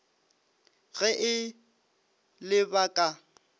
ge e le ba ka